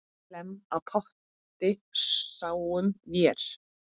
Hlemm á potti sáum vér.